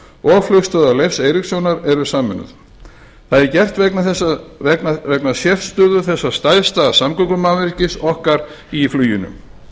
og flugstöðvar leifs eiríkssonar er sameinuð það er gert vegna sérstöðu þessa stærsta samgöngumannvirkis okkar í fluginu